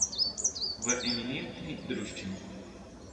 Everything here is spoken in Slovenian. V eminentni druščini.